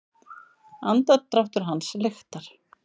Andardráttur hans lyktar.